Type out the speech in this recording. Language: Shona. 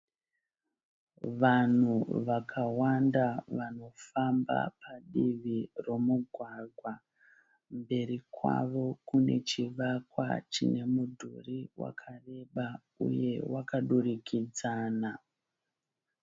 Vanhu vakawanda vanofamba padivi romugwagwa. Mberi kwavo kune chivakwa chine mudhuri wakareba uye wakadurikidzana.